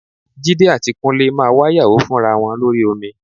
Jídé àti Kúnlé máa wáyàwó fúnra wọn lórí omi